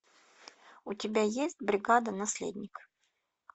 у тебя есть бригада наследник